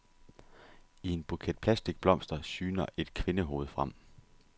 I en buket plastikblomster syner et kvindehoved frem.